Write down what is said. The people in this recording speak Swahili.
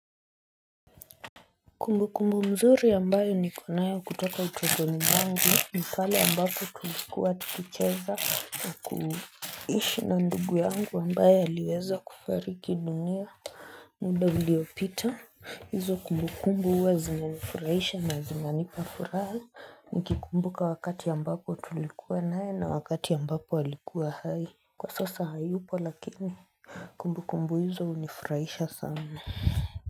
Kumbu kumbu mzuri ambayo niko nayo kutoka utotoni mwangu ni pale ambapo tulikuwa tukicheza na kuishi na ndugu yangu ambayo aliweza kufariki dunia muda uliopita, hizo kumbu kumbu huwa zinanifurahisha na zinanipa furaha Nikikumbuka wakati ambapo tulikuwa nae na wakati ambapo walikuwa hai Kwa sasa hayupo lakini kumbu kumbu hizo hunifurahisha sana.